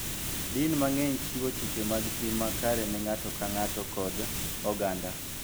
Din mang�eny chiwo chike mag tim makare ne ng�ato ka ng�ato kod oganda.